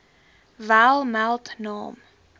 wel meld naam